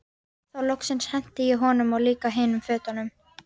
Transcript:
Þá loksins henti ég honum og líka hinum fötunum.